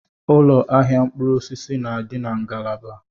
Ụlọ ahịa mkpụrụ osisi na-adị na ngalaba.